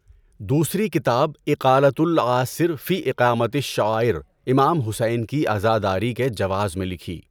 دوسری کتاب اِقالَۃُ العاثِر فِی اِقامۃِ الشَّعائِر امام حسین کی عزاداری کے جواز میں لکھی۔